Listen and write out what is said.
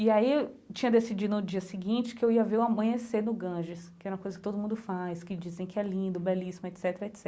E aí eu tinha decidido no dia seguinte que eu ia ver o amanhecer no Ganges, que era uma coisa que todo mundo faz, que dizem que é lindo, belíssimo, et cetera, et cetera.